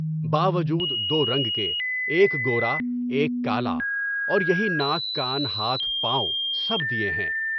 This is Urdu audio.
با وجود دو رنگ کے، ایک گورا ایک کالا، اور یہی ناک، کان، ہاتھ، پاؤں سب دیے ہیں۔